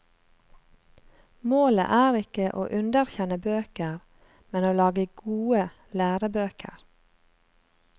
Målet er ikke å underkjenne bøker, men å lage gode lærebøker.